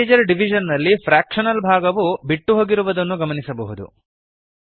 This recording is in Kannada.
ಇಂಟಿಜರ್ ಡಿವಿಷನ್ ನಲ್ಲಿ ಫ್ರ್ಯಾಕ್ಷನಲ್ ಭಾಗವು ಬಿಟ್ಟುಹೊಗಿರುವುದನ್ನು ಗಮನಿಸಬಹುದು